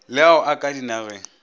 le ao a ka dinageng